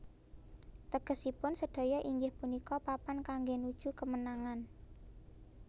Tegesipun sedaya inggih punika Papan kangge nuju kemenangan